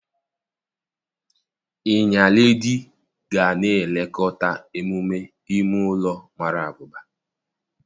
Iya Iledi ga na-elekọta emume ime ụlọ mara abụba.